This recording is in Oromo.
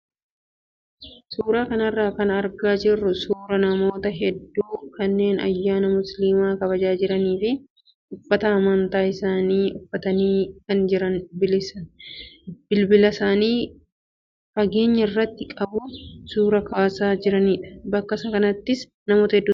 Suuraa kanarraa kan argaa jirru suuraa namoota hedduu kanneen ayyaana musliimaa kabajaa jiranii fi uffata amantaa isaanii uffatanii kaan immoo bilbilaisaanii fageenya irratti qabuun suuraa of kaasaa jiranidha. Bakka kanattis namoota hedduutu argame.